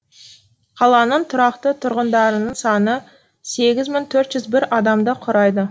қаланың тұрақты тұрғындарының саны сегіз мың төрт жүз адамды құрайды